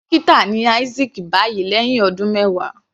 Dókítà ni Isaac báyìí lẹ́hìn ọdún mẹwàá.